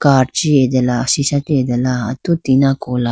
card chi atela sisha chi atela atu tina kola.